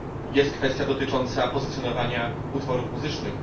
Jest kwestia dotycząca pozycjonowania utworów muzycznych.